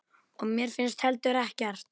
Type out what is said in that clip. Og mér finnst heldur ekkert.